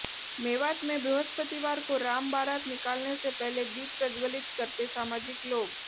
मेवात में बृहस्पतिवार को राम बारात निकालने से पहले दीप प्रज्वलित करते सामाजिक लोग